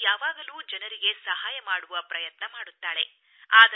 ಅವಳು ಯಾವಾಗಲೂ ಜನರಿಗೆ ಸಹಾಯ ಮಾಡುವ ಪ್ರಯತ್ನ ಮಾಡುತ್ತಾಳೆ